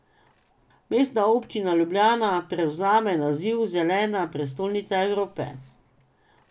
Mestna občina Ljubljana prevzame naziv Zelena prestolnica Evrope.